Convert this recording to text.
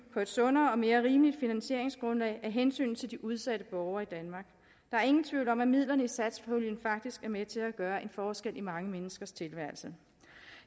på et sundere og mere rimeligt finansieringsgrundlag af hensyn til de udsatte borgere i danmark og er ingen tvivl om at midlerne i satspuljen faktisk er med til at gøre en forskel i mange menneskers tilværelse